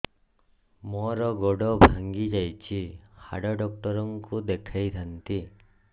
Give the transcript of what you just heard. ମୋର ଗୋଡ ଭାଙ୍ଗି ଯାଇଛି ହାଡ ଡକ୍ଟର ଙ୍କୁ ଦେଖେଇ ଥାନ୍ତି